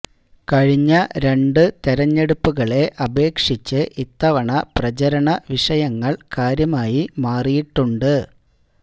കഴിഞ്ഞ രണ്ടു തെരഞ്ഞെടുപ്പുകളെ അപേക്ഷിച്ച് ഇത്തവണ പ്രചരണ വിഷയങ്ങള് കാര്യമായി മാറിയിട്ടുണ്ട്